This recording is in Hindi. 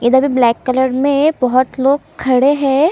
इधर ब्लैक कलर में बहोत लोग खड़े है।